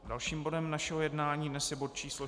Dalším bodem našeho jednání dnes je bod číslo